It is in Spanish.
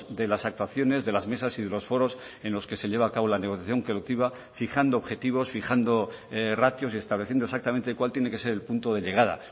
de las actuaciones de las mesas y de los foros en los que se lleva a cabo la negociación colectiva fijando objetivos fijando ratios y estableciendo exactamente cuál tiene que ser el punto de llegada